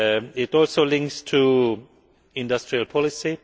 It also links to industrial policy.